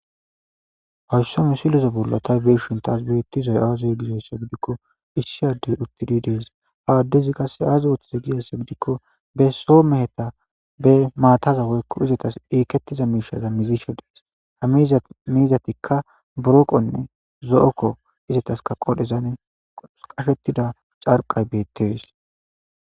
Haysso misiloze bollo taw beshintas beettizay aazey gizayssa gidikko issi addey uttidi dees ha addezi qasse aaza wothiza giyasse gidikko besso meheta be maataza woykko izatas eikettiza miishaza mizisho dees hamizamizatikka buroqonne zo7okko izataska qodhezan qafetida carqay beettees